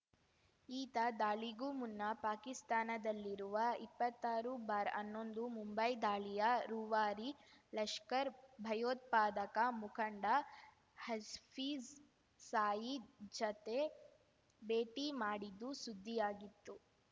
ಈತ ದಾಳಿಗೂ ಮುನ್ನ ಪಾಕಿಸ್ತಾನದಲ್ಲಿರುವ ಇಪ್ಪತ್ತಾರು ಬಾರ್ಹನ್ನೊಂದು ಮುಂಬೈ ದಾಳಿಯ ರೂವಾರಿ ಲಷ್ಕರ್ ಭಯೋತ್ಪಾದಕ ಮುಖಂಡ ಹಜ್ಫೀಜ್‌ ಸಾಯೀದ್‌ ಜತೆ ಭೇಟಿ ಮಾಡಿದ್ದು ಸುದ್ದಿಯಾಗಿತ್ತು